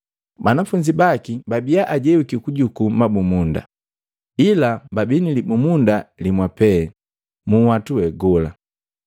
Banafunzi baki babia ajewiki kujukuu mabumunda, ila babii nilibumunda limwa pe munhwatu we gola.